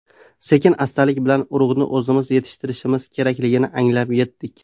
Sekin-astalik bilan urug‘ni o‘zimiz yetishtirishimiz kerakligini anglab yetdik.